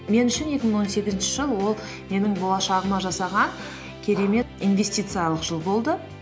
мен үшін екі мың он сегізінші жыл ол менің болашағыма жасаған керемет инвестициялық жыл болды